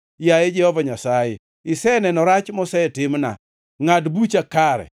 Yaye Jehova Nyasaye, iseneno, rach mosetimna, ngʼad bucha kare!